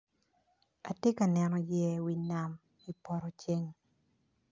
Atye kaneo yeya i wi nam i poto ceng